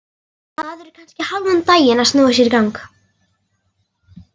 Maður er kannski hálfan daginn að snúa sér í gang.